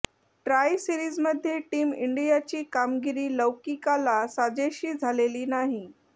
try सीरिजमध्ये team इंडियाची कामगिरी लौकीकाला साजेशी झालेली नाही